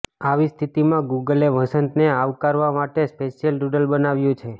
આવી સ્થિતિમાં ગૂગલે વસંતને આવકારવા માટે સ્પેશ્યલ ડૂડલ બનાવ્યું છે